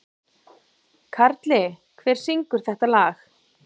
Karli, hver syngur þetta lag?